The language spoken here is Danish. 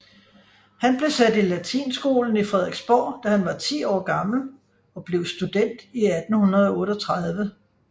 Han blev sat i latinskolen i Frederiksborg da han var 10 år gammel og blev student i 1838